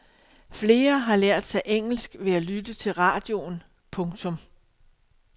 Flere har lært sig engelsk ved at lytte til radioen. punktum